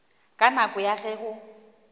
ka nako ya ge go